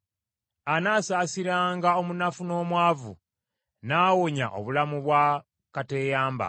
Anaasaasiranga omunafu n’omwavu; n’awonya obulamu bwa kateeyamba.